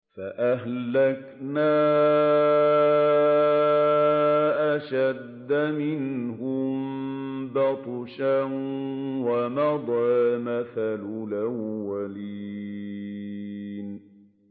فَأَهْلَكْنَا أَشَدَّ مِنْهُم بَطْشًا وَمَضَىٰ مَثَلُ الْأَوَّلِينَ